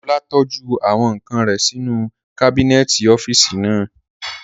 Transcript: Ọlá tọ́jú àwọn ǹkan rẹ̀ sí inú kábínẹ̀tì ọ́físì naa